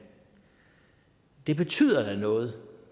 det betyder da noget